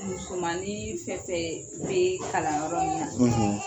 Musomannin fɛnfɛn bɛ kalanyɔrɔ ninnu na